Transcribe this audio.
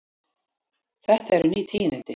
Þetta eru ný tíðindi.